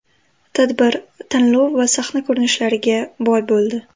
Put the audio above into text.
Tadbir tanlov va sahna ko‘rinishlariga boy bo‘ldi.